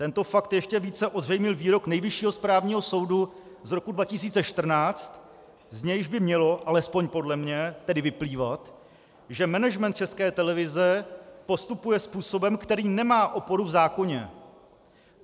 Tento fakt ještě více ozřejmil výrok Nejvyššího správního soudu z roku 2014, z nějž by mělo, alespoň podle mě, tedy vyplývat, že management České televize postupuje způsobem, který nemá oporu v zákoně.